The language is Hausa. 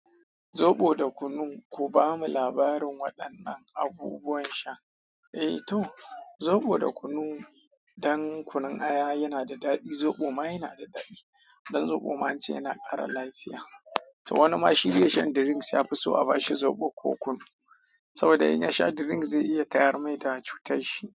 Zoɓo da kunu, ku bamu labarin waɗannan abubuwan sha. Eh to, zoɓo da kunu, dan kunun aya yana da daɗi, zoɓo ma yana da daɗi. Dan zoɓo ma an ce yana ƙara lafiya. To wani ma shi bai shan drinks, ya fi so a bashi zoɓo ko kunu. Saboda in ya sha drink zai iya tayar mai da cutar shi.